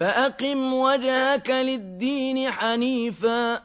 فَأَقِمْ وَجْهَكَ لِلدِّينِ حَنِيفًا ۚ